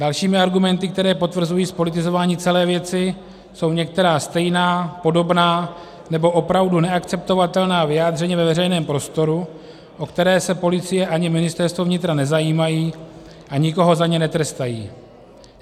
Dalšími argumenty, které potvrzují zpolitizování celé věci, jsou některá stejná, podobná nebo opravdu neakceptovatelná vyjádření ve veřejném prostoru, o která se policie ani Ministerstvo vnitra nezajímají a nikoho za ně netrestají.